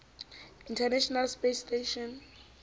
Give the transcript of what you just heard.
international space station